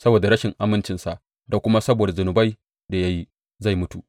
Saboda rashin amincinsa da kuma saboda zunubai da ya yi, zai mutu.